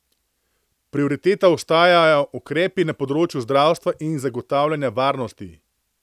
Prioriteta ostajajo ukrepi na področju zdravstva in zagotavljanja varnosti.